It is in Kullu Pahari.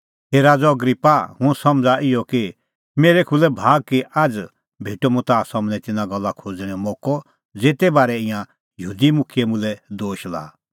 हे राज़अ अग्रिप्पा हुंह समझ़ा इहअ कि मेरै खुल्है भाग कि आझ़ भेटअ मुंह ताह सम्हनै तिन्नां गल्ला खोज़णेंओ मोक्कअ ज़ेते बारै ईंयां यहूदी मुखियै मुल्है दोश लाआ